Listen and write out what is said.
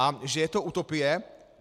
A že je to utopie?